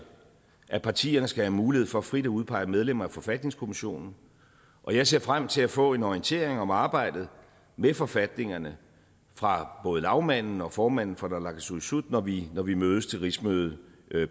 at partierne skal have mulighed for frit at udpege medlemmer af forfatningskommissionen jeg ser frem til at få en orientering om arbejdet med forfatningerne fra både lagmanden og formanden for naalakkersuisut når vi når vi mødes til rigsmødet